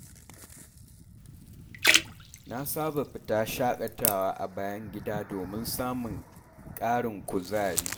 Na saba fita shakatawa a bayan gida domin samun ƙarin kuzari.